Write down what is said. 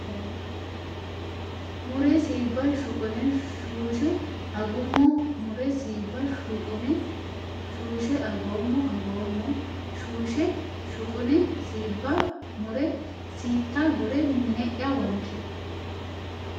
mure siibba shuqune shuushshe Agummo mure siibba shuqune shuushshe Agummo Agummo shuushshe shuqune siibba mure siitta gure mine ya wonshe !